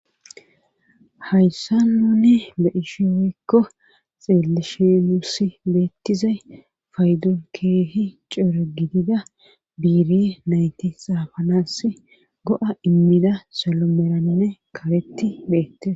Hayssa nuni beishi woykko xillishe nussi beettizay faydol keehi coero gidida biiri nayti xaafanass go7a immida solomoranne karetti beettiza.